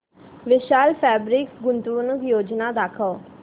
विशाल fabrics गुंतवणूक योजना दाखव